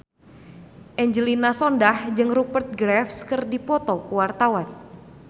Angelina Sondakh jeung Rupert Graves keur dipoto ku wartawan